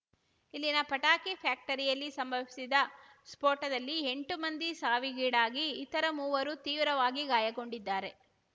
ಇಲ್ಲಿನ ಪಟಾಕಿ ಫ್ಯಾಕ್ಟರಿಯಲ್ಲಿ ಸಂಭವಿಸಿದ ಸ್ಫೋಟದಲ್ಲಿ ಎಂಟು ಮಂದಿ ಸಾವಿಗೀಡಾಗಿ ಇತರ ಮೂವರು ತೀವ್ರವಾಗಿ ಗಾಯಗೊಂಡಿದ್ದಾರೆ